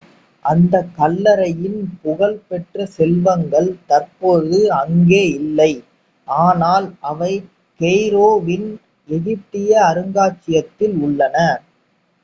அந்தக் கல்லறையின் புகழ் பெற்ற செல்வங்கள் தற்போது அங்கே இல்லை ஆனால் அவை கெய்ரோ வின் எகிப்திய அருங்காட்சியகத்தில் உள்ளன